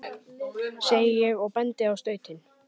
segi ég og bendi á stautinn.